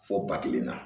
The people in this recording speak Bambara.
Fɔ ba kelen na